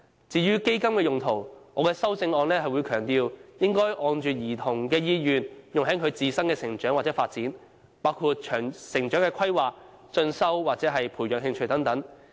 至於"嬰兒基金"的用途，我的修正案強調，應按照兒童的意願，用在其自身的成長或發展，包括成長規劃、進修或培養興趣等。